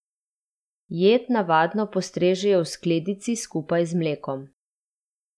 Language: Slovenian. Jed navadno postrežejo v skledici skupaj z mlekom.